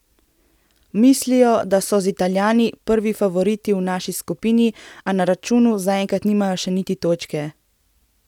Mislijo, da so z Italijani prvi favoriti v naši skupini, a na računu zaenkrat nimajo še niti točke.